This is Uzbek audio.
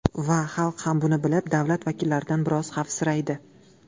Va xalq ham buni bilib, davlat vakillaridan biroz xavfsiraydi.